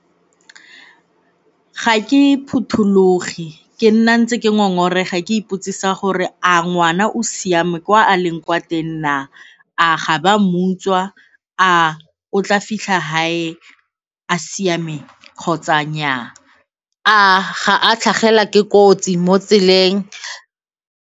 Ga ke phuthologe, ke nna ntse ke ngongorega ke ipotsisa gore a ngwana o siame kwa a leng kwa teng na, a ga ba mo utswa, a o tla fitlha gae a siame kgotsa nnyaa? A ga a tlhagelwa ke kotsi mo tseleng?